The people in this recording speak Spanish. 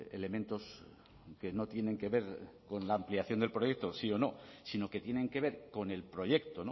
elementos que no tienen que ver con la ampliación del proyecto sí o no sino que tienen que ver con el proyecto